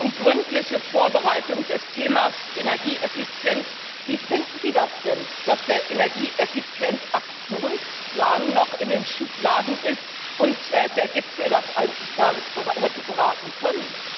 Und zur gründlichen Vorbereitung des Themas Energieeffizienz Wie finden Sie das denn, dass der Energieeffizienz Aktionsplan noch in den Schubladen ist und der Gipfel das eigentlich gar nicht hätte beraten können?